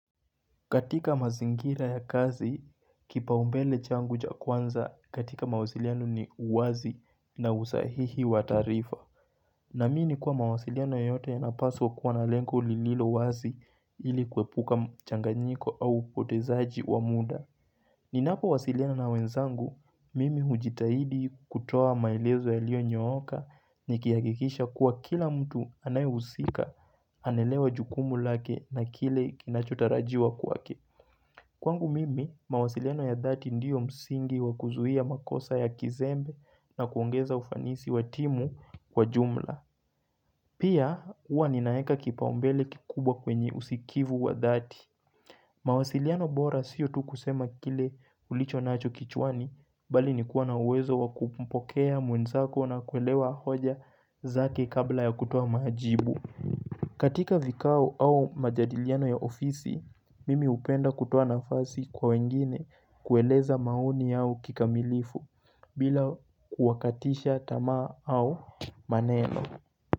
Katika mazingira ya kazi, kipaumbele changu cha kwanza katika mawasiliano ni uwazi na usahihi wataarifa. Naamini kuwa mawasiliano yeyote inapaswa kuwa na lengo lilo wazi ili kuepuka mchanganyiko au upotezaji wa muda. Ninapo wasiliano na wenzangu, mimi hujitahidi kutoa maelezo yaliyo nyooka nikihakikisha kuwa kila mtu anayuhusika, anelewa jukumu lake na kile kinachotarajiwa kwake. Kwangu mimi, mawasiliano ya dhati ndiyo msingi wakuzuhia makosa ya kizembe na kuongeza ufanisi wa timu kwa jumla. Pia, uwa ninaeka kipaumbele kikubwa kwenye usikivu wa dhati. Mawasiliano bora siyo tu kusema kile ulicho nacho kichwani, bali nikuwa na uwezo wakumpokea mwenzako na kuelewa hoja zake kabla ya kutoa majibu. Katika vikao au majadiliano ya ofisi, mimi hupenda kutoa nafasi kwa wengine kueleza maoni yao kikamilifu bila kuwakatisha tama au maneno.